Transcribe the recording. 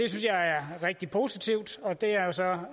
jeg er rigtig positivt og det er jo så